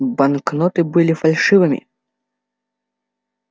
банкноты были фальшивыми